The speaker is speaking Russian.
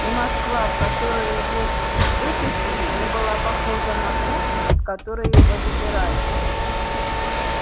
и москва в которую его выпустили не была похожа на ту из которой его забирали